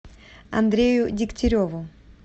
андрею дегтяреву